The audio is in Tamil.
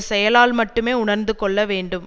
செயலால் மட்டுமே உணர்ந்து கொள்ள வேண்டும்